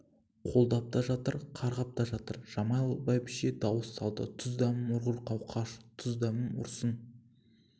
қолдап та жатыр қарғап та жатыр жамал бәйбіше дауыс салды тұз-дәмім ұрғыр қауқаш тұз-дәмім ұрсын